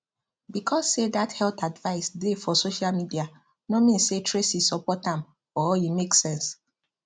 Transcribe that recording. because say dat health advice dey for social media no mean say tracy support am or e make sense